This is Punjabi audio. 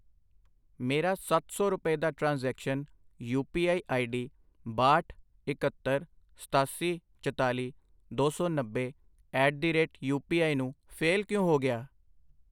ਮੇਰਾ ਸੱਤ ਸੌ ਰੁਪਏ ਦਾ transaction, U P I ID ਬਾਹਠ, ਇੱਕਹੱਤਰ, ਸਤਾਸੀ, ਚਤਾਲੀ, ਦੋ ਸੌ ਨੱਬੇ at the rate U P I ਨੂੰ ਫੇਲ ਕਿਉ ਹੋ ਗਿਆ ?